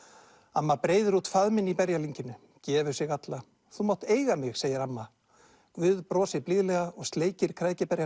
amma breiðir út faðminn í gefur sig alla þú mátt eiga mig segir amma guð brosir blíðlega og sleikir